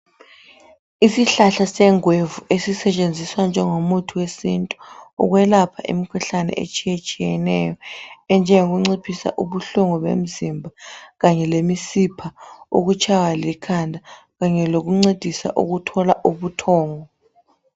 Isihlahla sengwevu esisetshenziswa njengomuthi wesintu ukwelapha imkhuhlane etshiyetshiyeneyo enjengokunciphisa ubuhlungu bemzimba kanye lemisipha, ukutshaywa likhanda kanye lokuncedisa ukuthola ubuthongo.